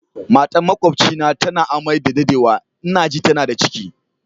Matan makwabcina tana a'mai da daddewa, n'na ji tana da ciki.